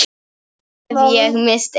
Nú hef ég misst einn.